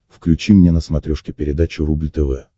включи мне на смотрешке передачу рубль тв